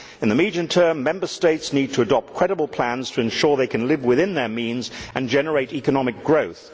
In the medium term Member States need to adopt credible plans to ensure that they can live within their means and generate economic growth.